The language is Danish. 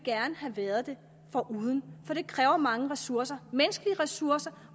have været det foruden for det kræver mange ressourcer menneskelige ressourcer